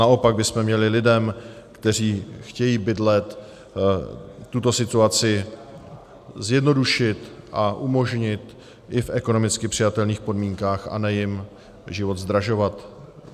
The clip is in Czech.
Naopak bychom měli lidem, kteří chtějí bydlet, tuto situaci zjednodušit a umožnit i v ekonomicky přijatelných podmínkách, a ne jim život zdražovat.